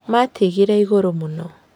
Maatigire igũrũ mũno.